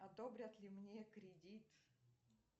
одобрят ли мне кредит